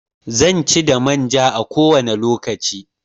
Zanci da manja a kowane lokaci.